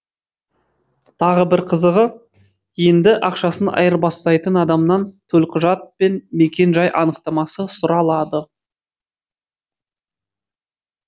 тағы бір қызығы енді ақшасын айырбастайтын адамнан төлқұжат пен мекен жай анықтамасы сұралады